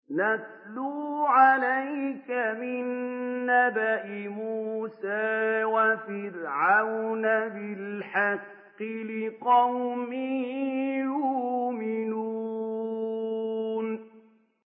نَتْلُو عَلَيْكَ مِن نَّبَإِ مُوسَىٰ وَفِرْعَوْنَ بِالْحَقِّ لِقَوْمٍ يُؤْمِنُونَ